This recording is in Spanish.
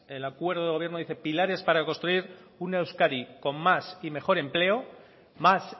el acuerdo de gobierno dice pilares para construir una euskadi con más y mejor empleo más